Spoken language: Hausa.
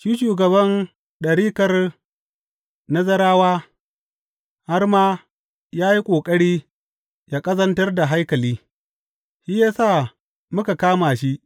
Shi shugaban ɗarikar Nazarawa har ma ya yi ƙoƙari ya ƙazantar da haikali; shi ya sa muka kama shi.